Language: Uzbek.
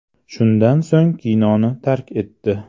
Shundan so‘ng kinoni tark etdi.